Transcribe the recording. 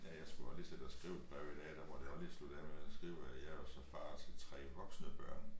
Ja jeg skulle også lige side og skrive et brev i dag der måtte jeg også lige slutte af med at skrive at jeg jo så far til 3 voksne børn